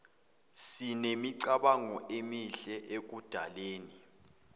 sinemicabango emihle ekudaleni